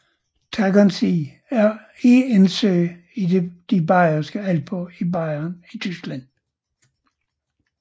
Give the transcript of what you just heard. Tegernsee er en sø i de Bayerske Alper i Bayern i Tyskland